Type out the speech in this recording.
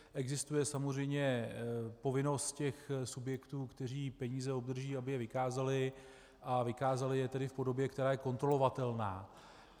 Existuje samozřejmě povinnost těch subjektů, které peníze obdrží, aby je vykázaly, a vykázaly je tedy v podobě, která je kontrolovatelná.